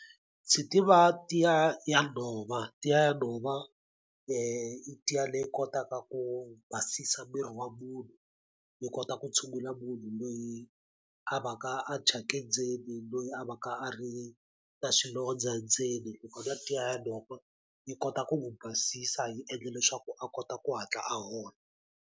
Ndzi tiva tiya ya nhova tiya ya nhova i tiya leyi kotaka ku basisa miri wa munhu yi kota ku tshungula munhu loyi a va ka a thyake ndzeni loyi a va ka a ri na swilondza ndzeni ni kota tiya ya leyi ya ku yi kota ku n'wu basisa hi endla leswaku a kota ku hatla a hola.